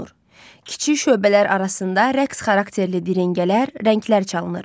Kiçik şöbələr arasında rəqs xarakterli diringələr, rənglər çalınır.